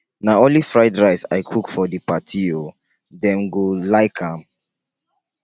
na only fried rice i cook for the party oo dem go like am?